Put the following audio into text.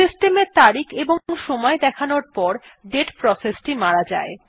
system এর তারিখ এবং সময় দেখানোর পর দাতে প্রসেসটি মারা যায়